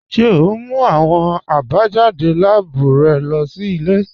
Ṣe o n mú awọn àbájádé láàbù rẹ lọ sí ilẹ̀?